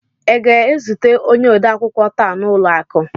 ị ga-ezute onye odeakwụkwọ taa n'ụlọ akụ?